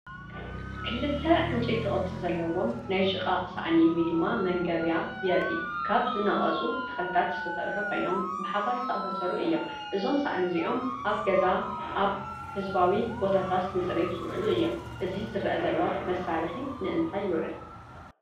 ክልተ ዕንጨይቲ ቅርጺ ዘለዎም ናይ ሽቓቕ ሳእኒ (መንገብያ) የርኢ። ካብ ዝነቐጹ ተኽልታት ዝተሰርሑ ኮይኖም ብሓባር ዝተኣሳሰሩ እዮም። እዞም ሳእኒ እዚኦም ኣብ ገዛን ኣብ ህዝባዊ ቦታታትን ንጽሬት ዝውዕሉ እዮም። እዚ ዝርአ ዘሎ መሳርሒ ንእንታይ ይውዕል?